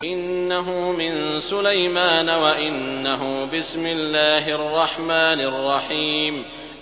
إِنَّهُ مِن سُلَيْمَانَ وَإِنَّهُ بِسْمِ اللَّهِ الرَّحْمَٰنِ الرَّحِيمِ